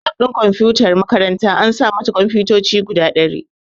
Lab ɗin kumfutar makaranta an sa mata kunfotoci guda ɗari